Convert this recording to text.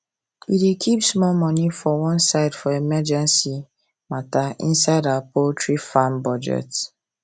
we dey keep small money for one side for emergency vet matter inside our poultry farm budget